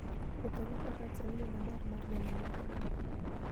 Wuotho gi Faras en yo maber mar neno alwora moro.